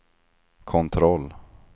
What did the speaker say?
kontroll